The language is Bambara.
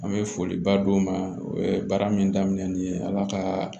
An bɛ foliba d'u ma o ye baara min daminɛ nin ye ala ka